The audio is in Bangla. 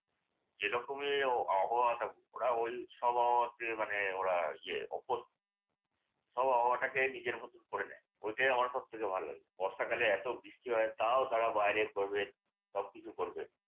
যেরকমই আবহাওয়া থাকুক ওরা ওই সব আবহাওয়াতে মানে ওরা ইয়ে অভ্যস্ত। সব আবহাওয়াকে নিজের মত করে নেয়। ওটাই আমার সবথেকে ভাল্লাগে। বর্ষাকালে এত বৃষ্টি হয় তাও তারা বাইরে ঘুরবে সবকিছু করবে।